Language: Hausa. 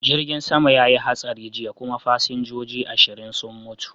Jirgin sama ya yi hatsari jiya kuma fasinjoji ashirin sun mutu.